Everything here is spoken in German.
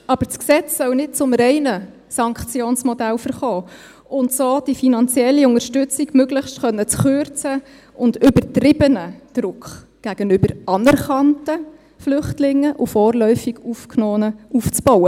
Aber das Gesetz soll nicht zum reinen Sanktionsmodell verkommen, um so die mögliche finanzielle Unterstützung möglichst kürzen zu können und übertriebenen Druck gegenüber anerkannten Flüchtlingen und vorläufig Aufgenommenen aufzubauen.